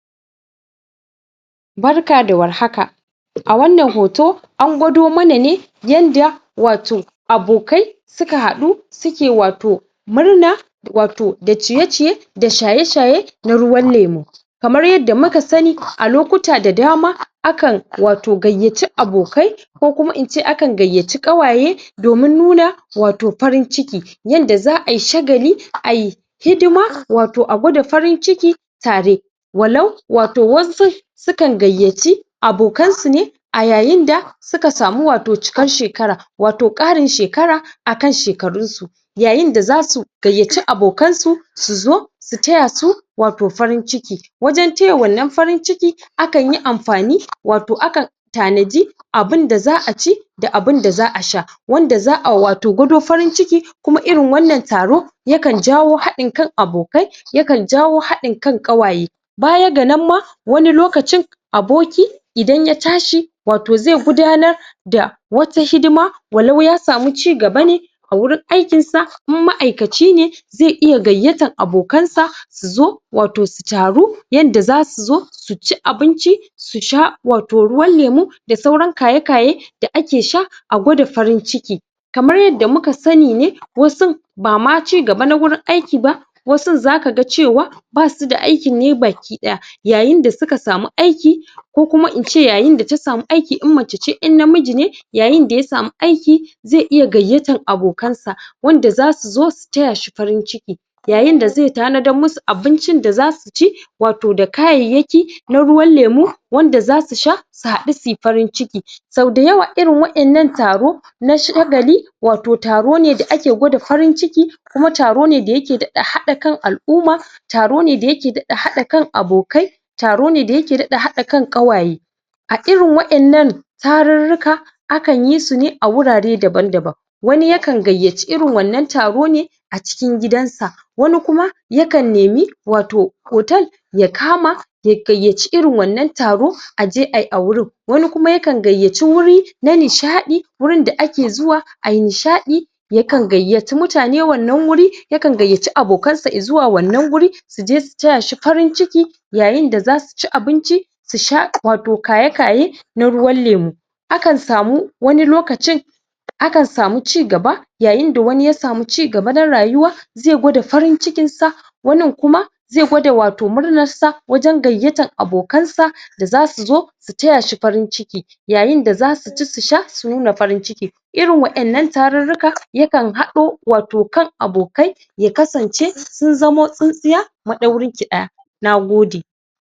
Barka da warhaka! A wannan hoto an gwado ma na ne yanda wato abokai su ka haɗu su ke wato murna wato da ciye-ciye da shaye-shaye da ruwan lemu kamar yadda mu ka sani a lokuta da dama akan wato gayyaci abokai ko kuma in ce akan gayyaci ƙawaye domin nuna wato farin ciki yanda za'ai shagali ai... hidima wato a gwada farin ciki tare walau wato wasu sukan gayyaci abokansu ne a yayinda suka samu wato cikar shekara wato ƙarin shekara a kan shekarunsu, yayinda za su gayyaci abokansu su zo su taya su wato farin ciki wajen taya wannan farin ciki akanyi amfani wato akan tanaji abinda za'a ci da abinda za'a sha wanda za'a wato gwado farin ciki kuma irin wannan taro yakan jawo haɗin kan abokai yakan jawo haɗin kan ƙawaye baya ga nan ma wani lokacin aboki idan ya tashi wato zai gudanar da wata hidima walau ya samu cigaba ne a wurin aikinsa idan ma'aikaci ne zai iya gayyatar abokansa su zo wato su taru yadda za su zo su ci abinci su sha wato ruwan lemu da sauran kaye-kaye da ake sha a gwada farin ciki kamar yadda mu ka sani ne wasu bama cigaba na wurin aiki ba wasun za ka ga ce wa ba su da aikin yi baki ɗaya yayinda su ka samu aiki ko kuma ince yayinda ta samu aiki in mace ce in namiji ne yayinda ya samu aiki zai iya gayyatar abokansa wanda za su zo su taya shi farin ciki yayinda zai tanadar ma su abincin da za su ci wato da kayayyaki na ruwan lemu wanda za su sha su haɗu su yi farin ciki sau da yawa irin waɗannan taro na shagali wato taro ne da ake gwada farin ciki kuma taro ne da yake haɗa kan al'umma taro ne da ya ke daɗa hadin kan abokai taro ne da ya ke daɗa haɗa kan ƙawaye, a irin a waɗannan tarurruka akan yi su ne a wurare daban-daban wani ya kan gayyaci irin wannan taro ne a cikin gidansa wani kuma yakan nemi wato hotel ya kama ya gayyaci irin wannan taro a je ayi a wurin, wani kuma yagan gayyaci wuri na nishaɗi wurinda ake zuwa ai nishaɗi yakan gayyaci mutane wannan wuri yakan gayyaci abokansa i zuwa wannan wuri su je su taya shi farin ciki yayinda za su ci abinci su sha wato kaye-kaye na ruwan lemu, akan samu wani lokacin akan samu cigaba yayinda wani ya samu cigaba na rayuwa zai gwada farin cikinsa wanin kuma zai gwada wato murnarsa wajen gayyatar abokansa da za su zo su taya shi farin ciki yayinda za su ci su sha su nuna farin ciki irin waɗannan tarurruka yakan haɗo wato kan abokai yakasance sun zamo tsintsiya maɗaurinki ɗaya, na gode.